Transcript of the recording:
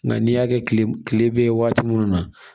Nka n'i y'a kɛ kile bɛ ye waati minnu na